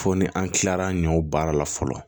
Fo ni an kilala an ɲe o baara la fɔlɔ